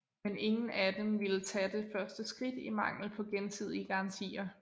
Men ingen af dem ville tage det første skridt i mangel på gensidige garantier